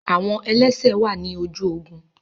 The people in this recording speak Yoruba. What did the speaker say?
Awọn ẹlẹsẹ wà ni ojú ogún